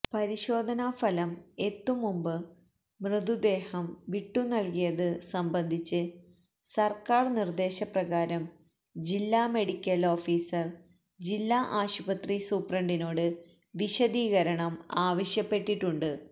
പരിശോധനാഫലം എത്തുംമുമ്പ് മൃതദേഹം വിട്ടുനൽകിയത് സംബന്ധിച്ച് സർക്കാർ നിർദേശപ്രകാരം ജില്ലാ മെഡിക്കൽ ഓഫീസർ ജില്ലാ ആശുപത്രി സൂപ്രണ്ടിനോട് വിശദീകരണം ആവശ്യപ്പെട്ടിട്ടുണ്ട്